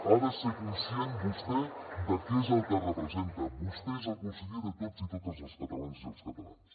ha de ser conscient vostè de què és el que representa vostè és el conseller de tots i totes les catalanes i els catalans